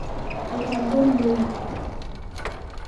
Aitagol loik.